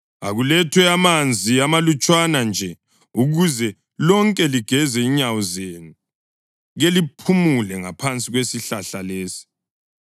Akulethwe amanzi amalutshwana nje, ukuze lonke ligeze inyawo zenu, keliphumule ngaphansi kwesihlahla lesi.